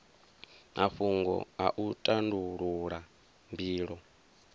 mafhungo a u tandulula mbilo